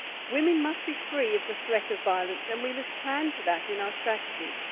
Women must be free of the threat of violence, and we must plan for that in our strategies.